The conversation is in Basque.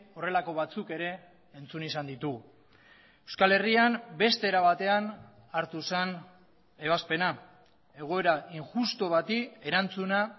horrelako batzuk ere entzun izan ditugu euskal herrian beste era batean hartu zen ebazpena egoera injustu bati erantzuna